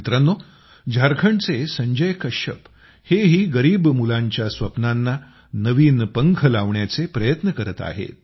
मित्रांनो झारखंडचे संजय कश्यप हेही गरीब मुलांच्या स्वप्नांना नवीन पंख लावण्याचे प्रयत्न करत आहेत